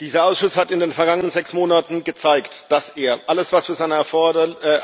Dieser Ausschuss hat in den vergangenen sechs Monaten gezeigt, dass er alles, was für seine